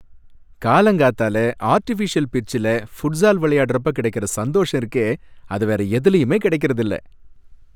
காலங்காத்தால ஆர்டிஃபிஷியல் பிட்ச்ல ஃபுட்ஸால் விளையாடுறப்ப கிடைக்கற சந்தோஷம் இருக்கே அது வேற எதுலயுமே கிடைக்கறது இல்ல.